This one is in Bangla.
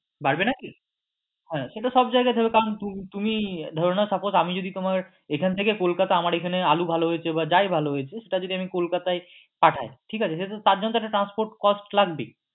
বাড়বে নাকি হ্যাঁ সেটা সবজায়গায় দেবে কারণ তুমি ধরে নাও suppose আমি যদি তোমার এখান থেকে কলকাতা আমার এখানে আলু ভালো হয়েছে বা যাই ভালো হয়েছে সেটা যদি আমি কলকাতায় পাঠাই ঠিক আছে সেটা তার জন্য তো একটা transport cost লাগবেই।